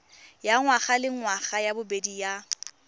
ya ngwagalengwaga ya bobedi ya